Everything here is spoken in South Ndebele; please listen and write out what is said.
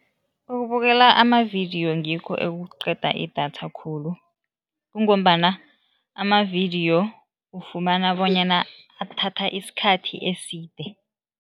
Ukubukela amavidiyo ngikho ekuqeda idatha khulu kungombana amavidiyo ufumana bonyana athatha isikhathi eside.